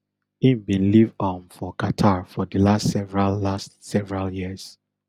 im bin live um for qatar for di last several last several years